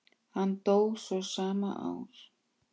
Hann dó svo sama ár.